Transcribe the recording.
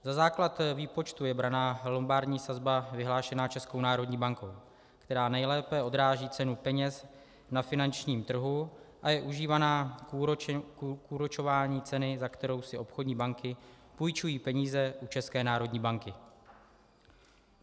Za základ výpočtu je braná lombardní sazba vyhlášená Českou národní bankou, která nejlépe odráží cenu peněz na finančním trhu a je užívaná k úročení ceny, za kterou si obchodní banky půjčují peníze u České národní banky.